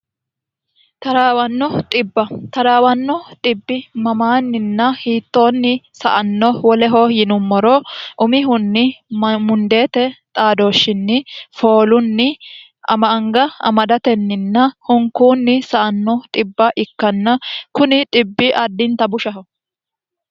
taraawanni xibba mamaanninna hiittoonni saanno woleho yinummoro umihunni mundeete xaadooshshinni foolunni ama anga amadatenninna hunkuunni sa'ano xibba ikkanna kuni xibbi addinta bushaho